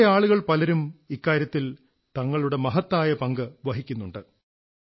നമ്മുടെ ആളുകൾ പലരും ഇക്കാര്യത്തിൽ തങ്ങളുടെ മഹത്തായ പങ്കു വഹിക്കുന്നുണ്ട്